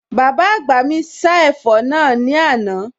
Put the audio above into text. Bàbá àgbà mi sá ẹ̀fọ́ náà ní àná